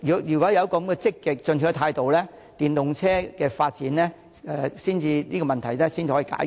如果有這種積極進取的態度，電動車發展的問題才可以解決。